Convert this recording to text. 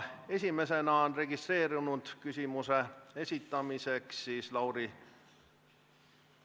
Esimesena on registreerunud küsimuse esitamiseks Lauri Läänemets.